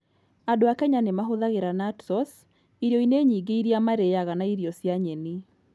Andũ a Kenya nĩ mahũthagĩra nut sauce irio-inĩ nyingĩ iria marĩaga na irio cia nyeni.